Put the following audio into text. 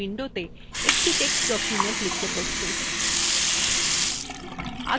আপনি এখন writer window একটি text document লিখতে প্রস্তুত